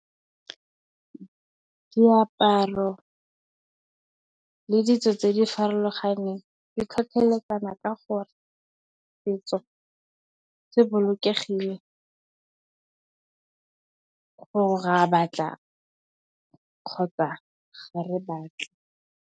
Moaparo le ditso tse di farologaneng di tlhotlheletsana ka gore setso se bolokegileng ra batla kgotsa ga re batla.